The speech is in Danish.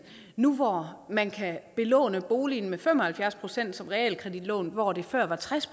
nu hvor man kan belåne boligen med fem og halvfjerds procent som realkreditlån hvor det før var tres